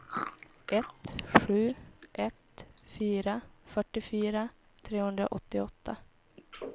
ett sju ett fyra fyrtiofyra trehundraåttioåtta